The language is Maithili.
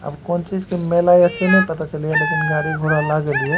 आब कोन चीज के मेला ये से ने पता चले ये लेकिन गाड़ी घोड़ा लागल ये।